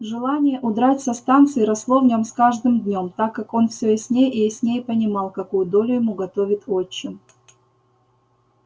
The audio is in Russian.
желание удрать со станции росло в нем с каждым днём так как он всё яснее и яснее понимал какую долю ему готовит отчим